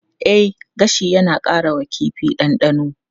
E, gashi yana ƙara wa kifi ɗanɗano.